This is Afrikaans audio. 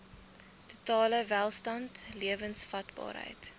totale welstand lewensvatbaarheid